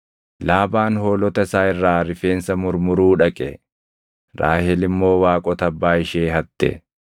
Laabaan hoolota isaa irraa rifeensa murmuruu dhaqe; Raahel immoo waaqota abbaa ishee hatte.